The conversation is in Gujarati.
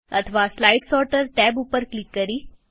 અથવા સ્લાઈડ સોર્ટર ટેબ ઉપર ક્લિક કરી